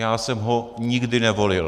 Já jsem ho nikdy nevolil.